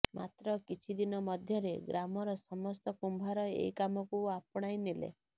ମାତ୍ର କିଛି ଦିନ ମଧ୍ୟରେ ଗ୍ରାମର ସମସ୍ତ କୁମ୍ଭାର ଏହି କାମକୁ ଆପଣାଇ ନେଲେ